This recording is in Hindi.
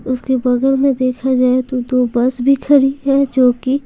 उसके बगल में देखा जाए तो दो बस भी खड़ी है जो कि--